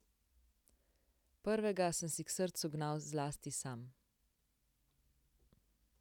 Prvega sem si k srcu gnal zlasti sam.